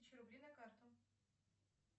тысячу рублей на карту